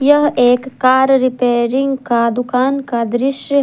यह एक car repairing का दुकान का दृश्य है।